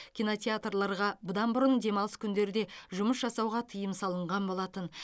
кинотеатрларға бұдан бұрын демалыс күндерде жұмыс жасауға тыйым салынған болатын